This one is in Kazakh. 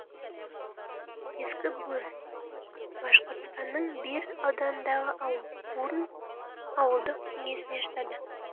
ескі бурн башқұртстанның бир ауданындағы ауыл бурн ауылдық кеңесіне жатады